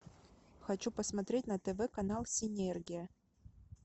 хочу посмотреть на тв канал синергия